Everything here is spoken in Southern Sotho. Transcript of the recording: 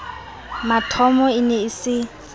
mathomo e ne e se